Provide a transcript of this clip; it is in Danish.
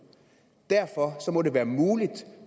derfor må det være muligt